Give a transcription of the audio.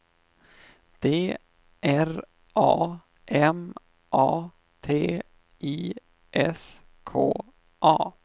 D R A M A T I S K A